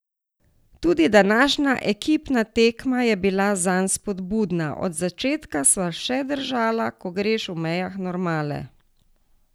Tudi današnja ekipna tekma je bila zanj spodbudna: 'Od začetka sva še držala, ko greš v mejah normale.